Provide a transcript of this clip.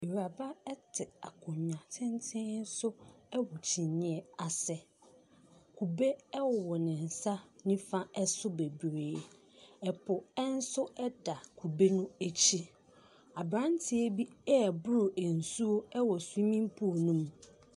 Awuraba te akonnwa tenten so wɔ kyiniiɛ ase. Kube wɔ ne nsa nifa so bebree. Ɛpo nso da kube no akyi. Aberanteɛ bi reboro nsuo wɔ swimming pool no mu.